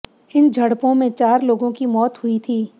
इन झड़पों में चार लोगों की मौत हुई थी